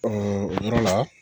yɔrɔ la